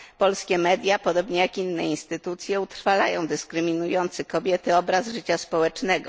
Polskie media, podobnie jak inne instytucje, utrwalają dyskryminujący kobiety obraz życia społecznego.